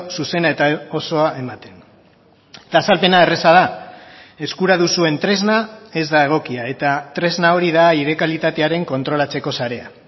zuzena eta osoa ematen eta azalpena erraza da eskura duzuen tresna ez da egokia eta tresna hori da aire kalitatearen kontrolatzeko sarea